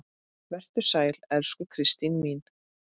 Vertu sæl, elsku Kristín mín.